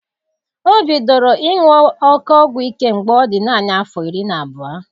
Ọ bidoro ịṅụ oké ọgwụ ike mgbe ọ dị nanị afọ iri na abụọ.